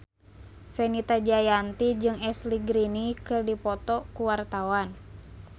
Fenita Jayanti jeung Ashley Greene keur dipoto ku wartawan